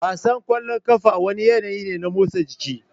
Wasan kwallon kafa wani yanayi ne na motsa jiki